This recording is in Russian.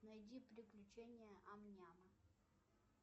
найди приключения ам няма